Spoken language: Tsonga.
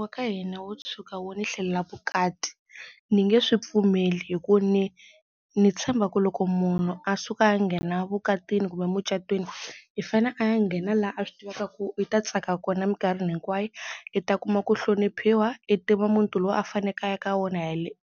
wa ka hina wo tshuka wu ni hlelela vukati ni nge swi pfumeli hi ku ni ni tshemba ku loko munhu a suka a ya nghena vukatini kumbe mucatwini i fane a ya nghena la a swi tivaka ku i ta tsaka kona minkarhini hinkwayo, i ta kuma ku hloniphiwa, i tiva muti lowu a faneke a ya ka wona